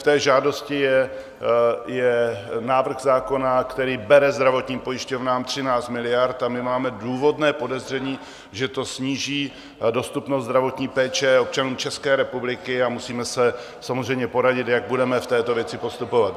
V té žádosti je návrh zákona, který bere zdravotním pojišťovnám 13 miliard, a my máme důvodné podezření, že to sníží dostupnost zdravotní péče občanů České republiky, a musíme se samozřejmě poradit, jak budeme v této věci postupovat.